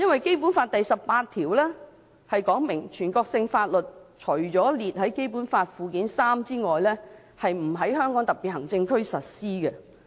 《基本法》第十八條訂明，"全國性法律除列於本法附件三者外，不在香港特別行政區實施。